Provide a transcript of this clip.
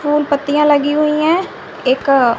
फूल पत्तियाँ लगी हुई हैं एक अ--